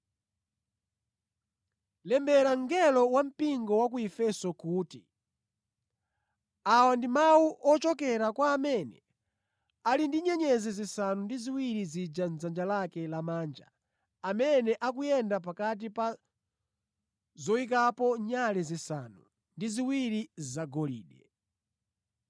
“Lembera mngelo wa mpingo wa ku Efeso kuti: Awa ndi mawu ochokera kwa amene ali ndi nyenyezi zisanu ndi ziwiri zija mʼdzanja lake lamanja amene akuyenda pakati pa zoyikapo nyale zisanu ndi ziwiri zagolide.